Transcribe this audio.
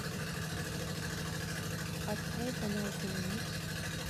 открой канал киномикс